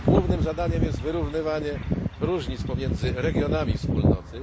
Jej głównym zadaniem jest wyrównywanie różnic pomiędzy regionami Wspólnoty.